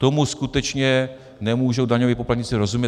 Tomu skutečně nemůžou daňoví poplatníci rozumět.